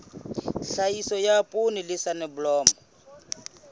tlhahiso ya poone le soneblomo